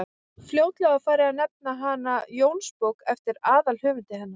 fljótlega var farið að nefna hana jónsbók eftir aðalhöfundi hennar